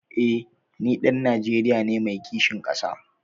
Eh ni ɗan Najeriya ne mai kishin ƙasa.